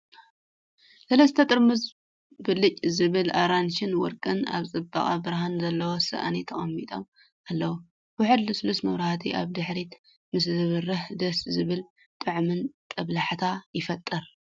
ሰለስተ ጥርሙዝ ብልጭ ዝብል ኣራንሺን ወርቅን ኣብ ጽቡቕ ብርሃን ዘለዎ ሳእኒ ተቐሚጦም ኣለዉ። ውሑድ ልስሉስ መብራህቲ ኣብ ድሕሪት ምስ ዝበርህ ደስ ዘብልን ጥዑምን ጦብላሕታ ይፈጥር።